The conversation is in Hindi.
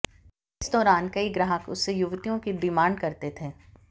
इस दौरान कई ग्राहक उससे युवतियों की डिमांड करते थे